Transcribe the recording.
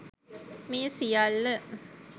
මේ සියල්ල